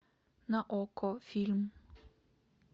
на окко фильм